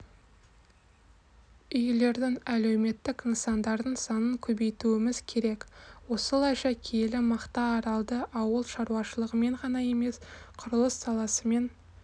үйлердің әлеуметтік нысандардың санын көбейтуіміз керек осылайша киелі мақтааралды ауыл шаруашылығымен ғана емес құрылыс саласымен